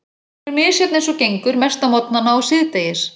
Hún er misjöfn eins og gengur, mest á morgnana og síðdegis.